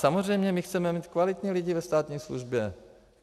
Samozřejmě my chceme mít kvalitní lidi ve státní službě.